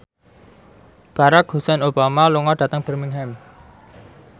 Barack Hussein Obama lunga dhateng Birmingham